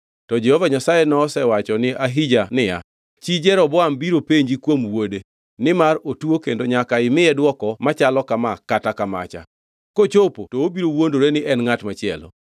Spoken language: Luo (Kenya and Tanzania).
To Jehova Nyasaye nosewacho ni Ahija niya, Chi Jeroboam biro penji kuom wuode, nimar otuo kendo nyaka imiye dwoko machalo kama kata kamacha. Kochopo to obiro wuondore ni en ngʼat machielo.